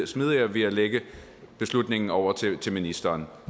smidigere ved at lægge beslutningen over til til ministeren